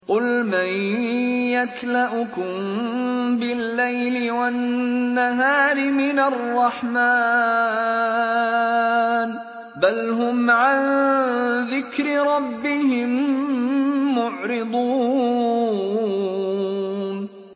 قُلْ مَن يَكْلَؤُكُم بِاللَّيْلِ وَالنَّهَارِ مِنَ الرَّحْمَٰنِ ۗ بَلْ هُمْ عَن ذِكْرِ رَبِّهِم مُّعْرِضُونَ